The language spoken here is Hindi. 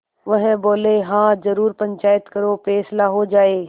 वह बोलेहाँ जरूर पंचायत करो फैसला हो जाय